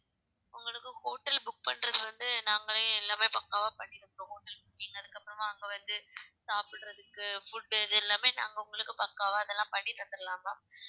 உங்களுக்கு hotel book பண்றது வந்து நாங்களே எல்லாமே பக்காவா நீங்க அதுக்கப்புறமா அங்க வந்து சாப்பிடுறதுக்கு food இது எல்லாமே நாங்க உங்களுக்கு பக்காவா அதெல்லாம் பண்ணி தந்திடலாம் ma'am